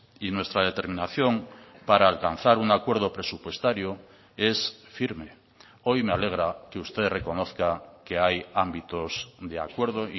y nuestra determinación para alcanzar un acuerdo presupuestario es firme hoy me alegra que usted reconozca que hay ámbitos de acuerdo